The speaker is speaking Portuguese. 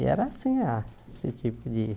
E era assim a, esse tipo de